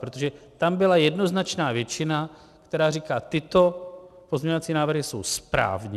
Protože tam byla jednoznačná většina, která říká: Tyto pozměňovací návrhy jsou správně.